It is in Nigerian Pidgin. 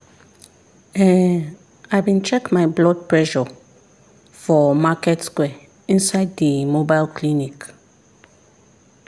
ehn i bin check my blood pressure for market square inside the mobile clinic.